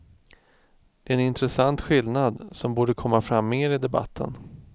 Det är en intressant skillnad, som borde komma fram mer i debatten.